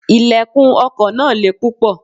Ilẹ̀kùn ọkọ̀ náà le púpọ̀.